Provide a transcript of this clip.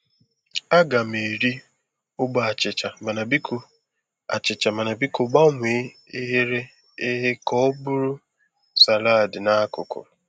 A ga m eri ogbe achịcha, mana biko achịcha, mana biko gbanwee eghere eghe kà ọ bụrụ salaadi n'akụkụ.